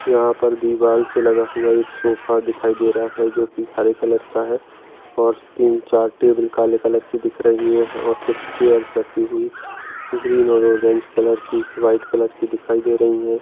यहाँ पर दीवारसे लगा हुआ एक सोफा दिखाई दे रहा है जो हरे कलर का है और तीन-चार टेबल काले कलर की दिख रही है और कुछ चेयर्स रखी हुई ग्रीन और ऑरेंज कलर की व्हाइट कलर की दिखाई दे रही है।